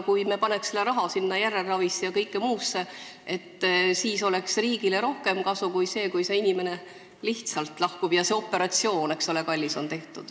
Võib-olla sellest, kui me paneks raha järelravisse ja kõigesse muusse, oleks riigile rohkem kasu kui sellest, et see inimene lihtsalt lahkub, aga kallis operatsioon on tehtud.